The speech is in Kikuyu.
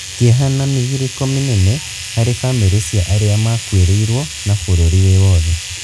kĩeha na mĩgirĩko mĩnene harĩ bamĩri cia arĩa makuĩrĩirwo na bũrũri wĩ wothe